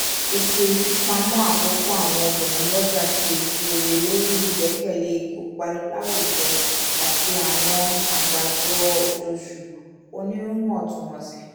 ètò ìfipamọ́ àkópọ̀ àwọn obìnrin lọ́jà ṣe réré lórí ìgbẹ́kẹ̀lé ìkópa láwùjọ àti àwọn àgbájọ oṣooṣù oníwọ̀ntúnwọ̀sì